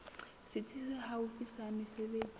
setsi se haufi sa mesebetsi